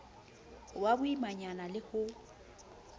ho ba boimanyana ho le